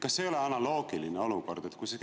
Kas see ei ole analoogiline olukord?